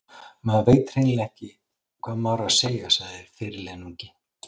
Maður veit hreinlega ekki hvað maður á að segja, sagði fyrirliðinn ungi.